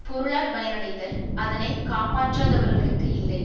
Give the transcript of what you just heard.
பொருளால் பயனடைதல் அதனை காப்பாற்றாதவர்களுக்கு இல்லை